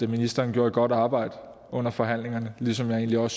ministeren gjorde et godt arbejde under forhandlingerne ligesom jeg